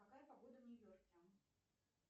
какая погода в нью йорке